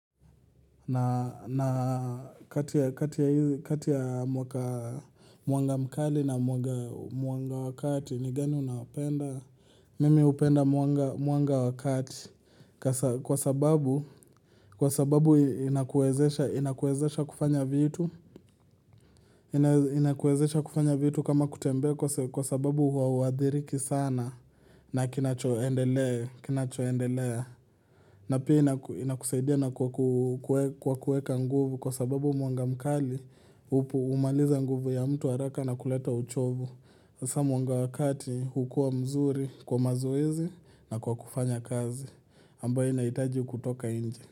Na kati ya mwanga mkali na mwanga wa kati ni gani unapenda. Mimi upenda muanga wakati kwa sababu inakuezesha kufanya vitu. Inakuezesha kufanya vitu kama kutembea kwa sababu hauadhiriki sana na kinachoendelea. Na pia inakusaidia na kwa kuweka nguvu kwa sababu mwanga mkali humaliza nguvu ya mtu haraka na kuleta uchovu. Sa mwanga wa kati hukua mzuri kwa mazoezi na kwa kufanya kazi. Ambayo naitaji kutoka nje.